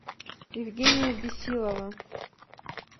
евгения бесилова